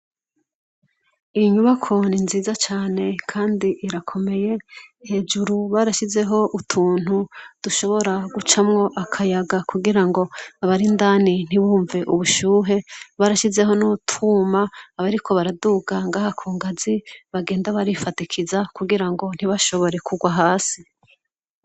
Iyinyubako ninziza cane kandi irakomeye, hejuru barasizeho utuntu dushobora gucamwo akayaga kugirango abarindani ntiwumve ubushuhe, barasizeho nutwuma kugirango abariko baraduga Ngaho kungazi, bagenda barifadikiza kugirango ntibashobore kugwa hasi.